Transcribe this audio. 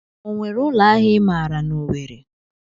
O nwere ụlọ ahịa I maara n'Owere?